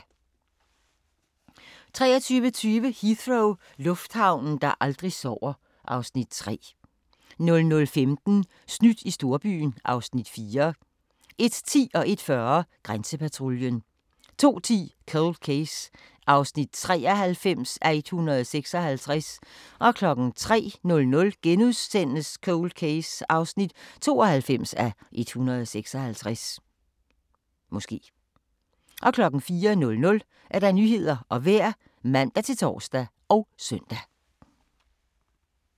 23:20: Heathrow – lufthavnen, der aldrig sover (Afs. 3) 00:15: Snydt i storbyen (Afs. 4) 01:10: Grænsepatruljen 01:40: Grænsepatruljen 02:10: Cold Case (93:156) 03:00: Cold Case (92:156)* 04:00: Nyhederne og Vejret (man-tor og søn)